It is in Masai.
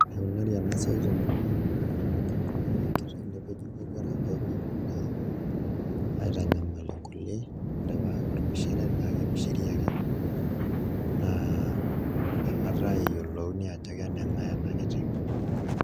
Enikunari ena siai temurua aang' naa kibung'i ake enkiteng' nepeji imowuarak pee melo naa aitanyamal nkulie mpaka ormishire naa kemishiri ake naa nakata eyiolouni ajo keneng'ae ena kiteng'.